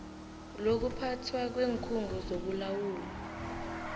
lokuphathwa kweenkhungo zokulawulwa